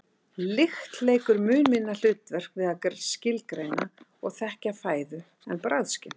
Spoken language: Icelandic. lykt leikur mun minna hlutverk við að skilgreina og þekkja fæðu en bragðskyn